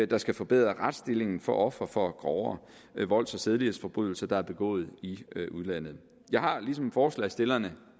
der skal forbedre retsstillingen for ofre for grovere volds og sædelighedsforbrydelser der er begået i udlandet jeg har ligesom forslagsstillerne